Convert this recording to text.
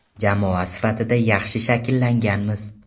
Jamoa sifatida yaxshi shakllanganmiz.